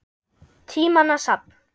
Tímanna safn